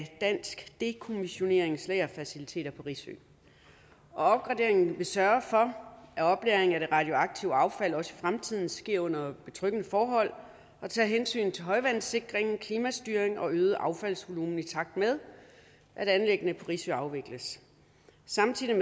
dansk dekommissionerings lagerfaciliteter på risø opgraderingen vil sørge for at oplagring af det radioaktive affald også i fremtiden sker under betryggende forhold og tager hensyn til højvandssikring klimastyring og øget affaldsvolumen i takt med at anlæggene på risø afvikles samtidig